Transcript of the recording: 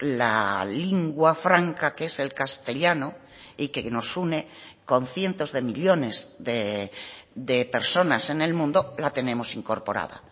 la lingua franca que es el castellano y que nos une con cientos de millónes de personas en el mundo la tenemos incorporada